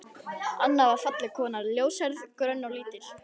Anna var falleg kona, ljóshærð, grönn og lítil.